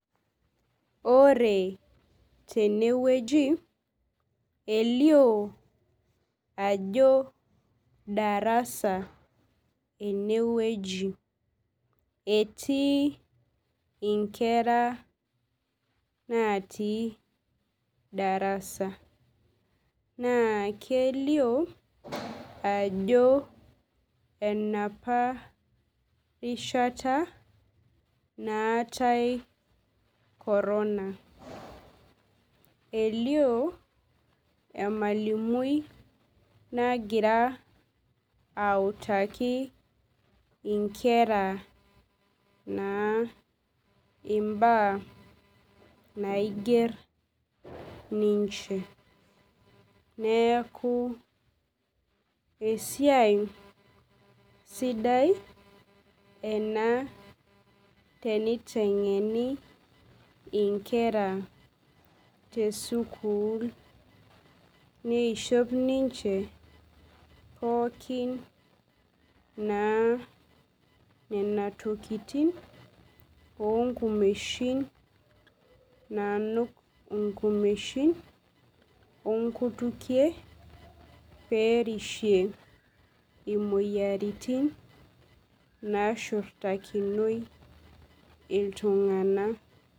Ore tenweji elioo ajo darasa enwueji etii nkera naatii darasa naa kelioo ajo enapa rishata naatai corona elioo emalimui nagira aitaku nkera naa endaa naijo minchi neeku siai sidai ena tenitengeni nkera tesukuul nemiisho ninche pookin naa nena tokitin oonkumeishin naanuk enkumeshin onkutukie pee erishie imoyiaritin naashurtakinoi iltung'anak.